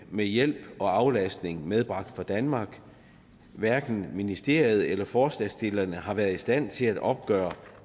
med hjælp og aflastning medbragt fra danmark hverken ministeriet eller forslagsstillerne har været i stand til at opgøre